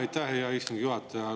Aitäh, hea istungi juhataja!